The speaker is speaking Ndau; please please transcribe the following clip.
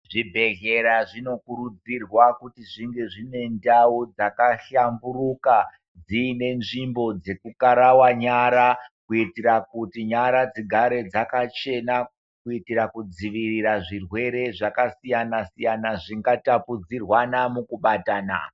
Zvibhedhlera zvino kurudzirwa kuti zvinge zvine ndau dzaka hlamburuka dziine nzvimbo dzeku karawa nyara kuitira kuti nyara dzigare dzakachena kuitira ku dzivirira zvirwere zvaka siyana siyana zvinga tapudzirwana muku batana.